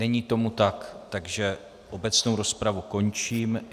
Není tomu tak, takže obecnou rozpravu končím.